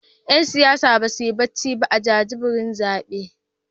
’Yan siyasar dai ba su yi barci ba a jajibirin zaben